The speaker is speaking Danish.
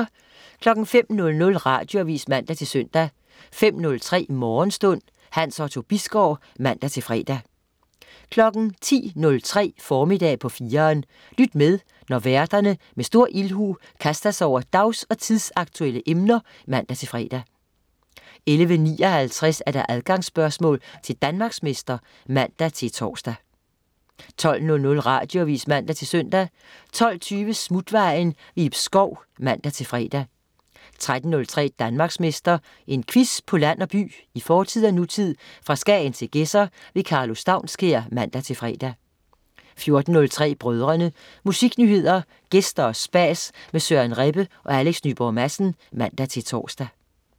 05.00 Radioavis (man-søn) 05.03 Morgenstund. Hans Otto Bisgaard (man-fre) 10.03 Formiddag på 4'eren. Lyt med, når værterne med stor ildhu kaster sig over dags- og tidsaktuelle emner (man-fre) 11.59 Adgangsspørgsmål til Danmarksmester (man-tors) 12.00 Radioavis (man-søn) 12.20 Smutvejen. Ib Schou (man-fre) 13.03 Danmarksmester. En quiz på land og by, i fortid og nutid, fra Skagen til Gedser. Karlo Staunskær (man-fre) 14.03 Brødrene. Musiknyheder, gæster og spas med Søren Rebbe og Alex Nyborg Madsen (man-tors)